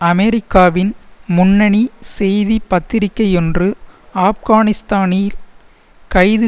அமெரிக்காவின் முன்னணி செய்தி பத்திரிகையொன்று ஆப்கானிஸ்தானில் கைது